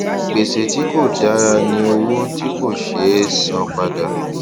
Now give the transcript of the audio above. gbèsè tí kò dára ni owó tí kò ṣe é san padà